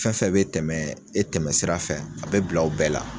Fɛn fɛn bɛ tɛmɛ e tɛmɛ sira fɛ a bɛ bila aw bɛɛ la